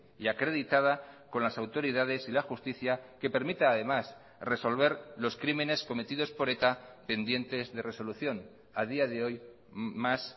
y acreditada con las autoridades y la justicia que permita además resolver los crímenes cometidos por eta pendientes de resolución a día de hoy más